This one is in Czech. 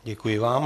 Děkuji vám.